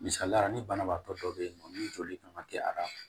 Misaliya l'i banabaatɔ dɔ bɛ yen nɔ ni joli kan ka kɛ ara